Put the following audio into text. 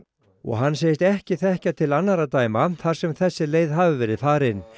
og hann segist ekki þekkja til annarra dæma þar sem þessi leið hafi verið farin